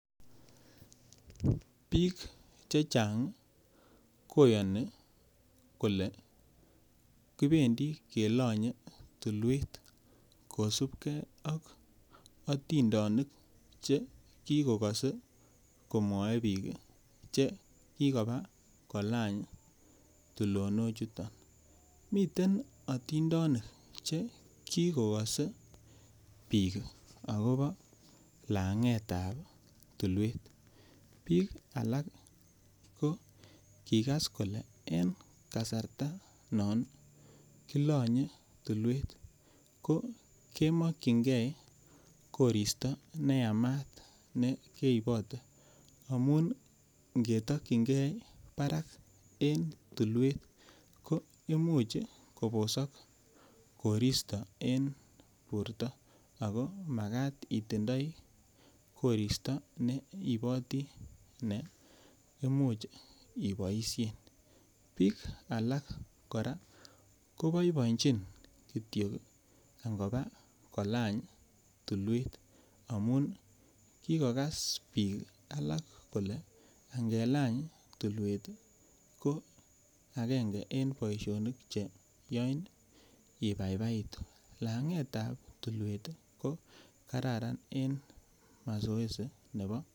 Biik chechang koyoni kole kibendi kelanye tulwet kosipke ak otindenik chekikokase komwae biik chekikobaa kolany tulonochuto, miten otindenik chekikose biik akopo langetab tulwet, biik alak kokikas kole en kasarta non kilanye tulwet ko kemokyinge koristo neyamat nekeibote amun ngetokyingee parak en tulwet ko imuch kobosok koristo en tulwet ako makat itindoi koristo ne iiboti neimuch iboisien biik alak kora koboiboenjin kityok angopa kolany tulwet amun kikokas biik alak kole angeleny tulwet ko akenge en boisionik cheyoin ibaibaitu lang'etab tulwet ko kararan en mazoezi nebo.